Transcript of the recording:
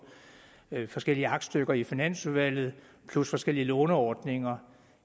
forskellige aktstykker i finansudvalget plus forskellige låneordninger